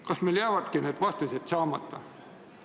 Kas meil jäävadki need vastused saamata?